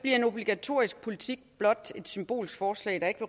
en obligatorisk politik blot et symbolsk forslag der ikke